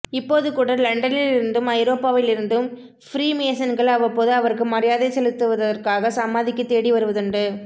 இப்போதுகூட லண்டனிலிருந்தும் ஐரோப்பாவிலிருந்தும் ஃப்ரீமேசன்கள் அவ்வப்போது அவருக்கு மரியாதை செலுத்துவதற்காக சமாதிக்குத் தேடி வருவதுண்டு